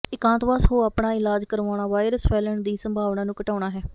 ਇਕਾਂਤਵਾਸ ਹੋ ਆਪਣਾ ਇਲਾਜ ਕਰਵਾਉਣਾ ਵਾਇਰਸ ਫੈਲਣ ਦੀ ਸੰਭਾਵਨਾ ਨੂੰ ਘਟਾਉਂਦਾ ਹੈ